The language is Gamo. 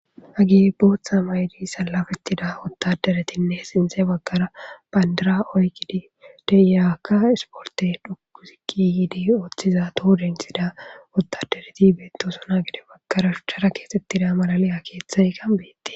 Hage booththa maydi salafettida ottaderetinne sinxe baggara bandira oykkidi deiyakka isporte dhukuzikki yiidi ooththiza toho densida ottadereti beettosona gede baggara shuchchara keesettida malaliya keeththay kanbete.